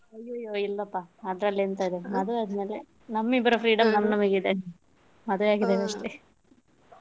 ಅಯ್ಯಯ್ಯೋ ಇಲ್ಲಪಾ ಅದ್ರಲ್ಲಿ ಎಲ್ಲ ಎಂತ ಮದುವೆ ಆದ್ಮೇಲೆ ನಮ್ಮಿಬ್ಬರ freedom ನಮ್ ನಮಗಿದೆ ಮದುವೆ ಆದದ್ದಷ್ಟೇ.